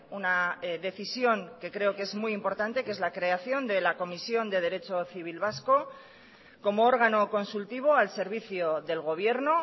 una decisión que creo que es muy importante que es la creación de la comisión de derecho civil vasco como órgano consultivo al servicio del gobierno